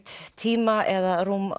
tíma eða rúm